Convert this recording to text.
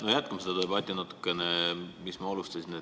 Ehk jätkame seda debatti, mida ma enne alustasin.